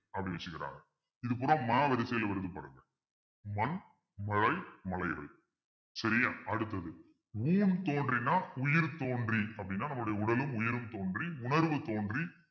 அப்படி வச்சிருக்காங்க இது பூரா மா வரிசையில வருது பாருங்க மண் மழை மலைகள் சரியா அடுத்தது ஊன் தோன்றினா உயிர் தோன்றி அப்படின்னா நம்முடைய உடலும் உயிரும் தோன்றி உணர்வு தோன்றி